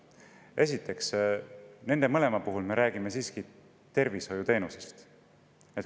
Esiteks, nende mõlema puhul me räägime siiski tervishoiuteenusest.